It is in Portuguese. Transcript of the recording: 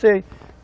Sei.